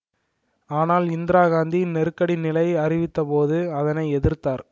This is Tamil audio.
ஆனால் இந்திரா காந்தி நெருக்கடி நிலை அறிவித்தபோது அதனை எதிர்த்தார்